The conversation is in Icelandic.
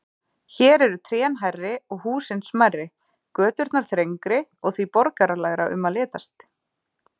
Hér eru trén hærri og húsin smærri, göturnar þrengri og því borgaralegra um að litast.